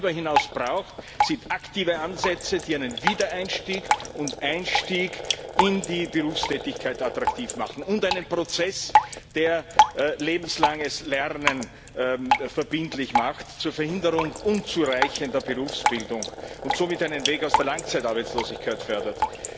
Was es darüber hinaus braucht, sind aktive Ansätze, die einen Wiedereinstieg und Einstieg in die Berufstätigkeit attraktiv machen, und einen Prozess, der lebenslanges Lernen verbindlich macht zur Verhinderung unzureichender Berufsbildung und somit einen Weg aus der Langzeitarbeitslosigkeit fördert.